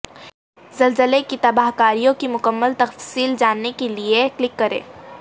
زلزلے کی تباہکاریوں کی مکمل تفصیل جاننے کے لیے کلک کریں